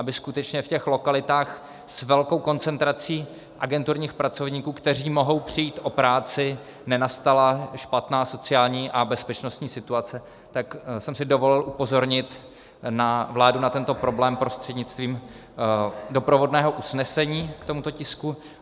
Aby skutečně v těch lokalitách s velkou koncentrací agenturních pracovníků, kteří mohou přijít o práci, nenastala špatná sociální a bezpečnostní situace, tak jsem si dovolil upozornit vládu na tento problém prostřednictvím doprovodného usnesení k tomuto tisku.